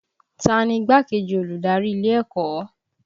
Ta ni igbákejì olùdarí ilé ẹ̀kọ́?